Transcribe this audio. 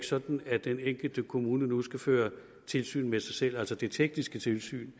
sådan at den enkelte kommune nu skal føre tilsyn med sig selv altså det tekniske tilsyn